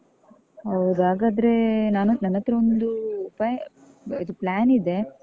ಹೌದ ಹಾಗಾದ್ರೆ ನಾನು, ನನ್ಹತ್ರ ಒಂದು pay ಇದು plan ಇದೆ.